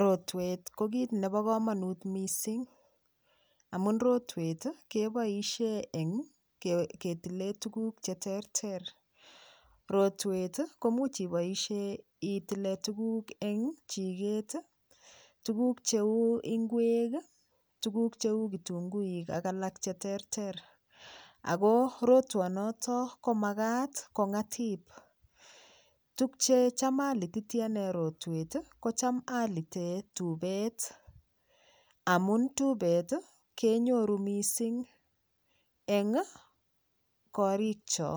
Rotwet ko kit nebo komonut mising amun rotwet keboishe ketile tuguk cheterter rotwet komuch iboishee itile tuguk eng chiket tuguk cheu ngwek tuguk cheu kitungui ak alak cheterter ako rotwonoto komakat kong'atip tukye cham alititi ane rotwet kocham alite tupet amun tipet kenyoru mising eng korikcho